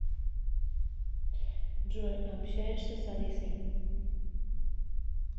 джой общаешься с алисой